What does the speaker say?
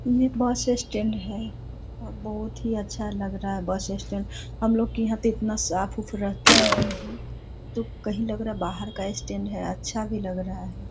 ये bus stand है और बहुत ही अच्छा लग रहा है बस स्टैन्ड हम लोगों के यहाँ तो इतना साफ-उफ रहता नहीं है तो कहीं लग रहा है बाहर का स्टैन्ड है अच्छा भी लग रहा है|